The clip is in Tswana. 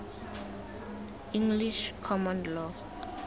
english common law